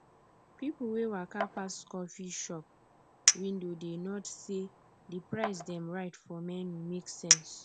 people wey waka pass coffee shop window dey nod say di price dem write for menu make sense